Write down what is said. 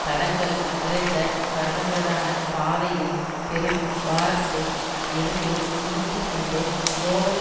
தடங்கல் நிறைந்த கரடுமுரடான பாதையில் பெரும் பாரத்தை எருது இழுத்து கொண்டு போவது